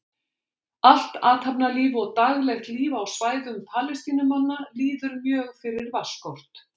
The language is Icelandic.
Allt athafnalíf og daglegt líf á svæðum Palestínumanna líður mjög fyrir vatnsskort.